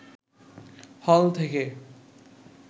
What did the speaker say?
হল থেকে